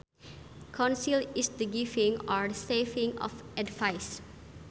Counsel is the giving or receiving of advice